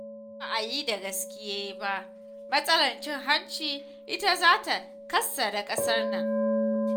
Idan ba a yi da gaske ba matsalar cin hanci ita zata kassara ƙasar nan.